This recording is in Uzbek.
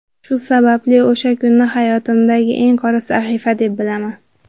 Shu sababli o‘sha kunni hayotimdagi qora sahifa, deb bilaman.